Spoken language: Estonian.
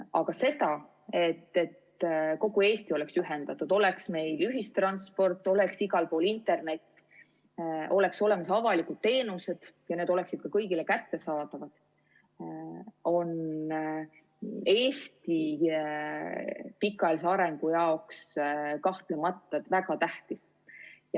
Aga see, et kogu Eesti oleks ühendatud, meil oleks ühistransport, igal pool oleks internet, oleks olemas avalikud teenused ja need oleksid kõigile kättesaadavad, on Eesti pikaajalise arengu jaoks kahtlemata väga tähtis.